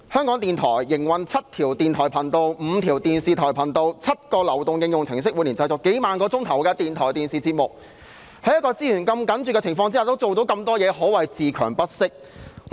港台營運7條電台頻道、5條電視頻道、7個流動應用程式，每年製作數萬小時的電台和電視節目，在資源如此緊絀的情況下仍然做到那麼多工作，可謂自強不息。